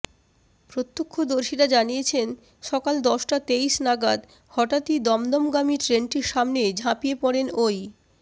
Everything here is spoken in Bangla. প্রত্যক্ষদর্শীরা জানিয়েছেন সকাল দশটা তেইশ নাগাদ হঠাত্ই দমদমগামী ট্রেনটির সামনে ঝাঁপিয়ে পড়েন ওই